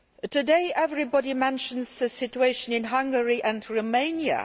Today everybody mentions the situation in Hungary and Romania.